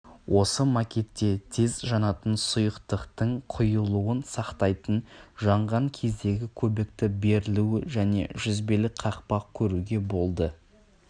осы макетте тез жанатын сұйықтықтың құйылуын сақтайтын жанған кездегі көбікті берілуі және жүзбелі қақпақ көруге болды